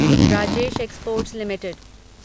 Rajesh exports limited